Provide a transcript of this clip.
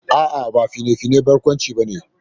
A'a, ba fina-finan barkwanci ba ne